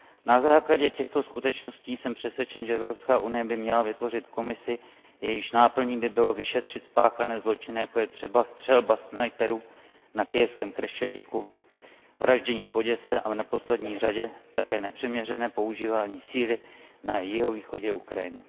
Na základě těchto skutečností jsem přesvědčen, že Evropská unie by měla vytvořit komisi, jejíž náplní by bylo vyšetřit spáchané zločiny, jako je třeba střelba snajperů na kyjevském Chreščatyku, vraždění v Oděse a v neposlední řadě také nepřiměřené používání síly na jihovýchodě Ukrajiny.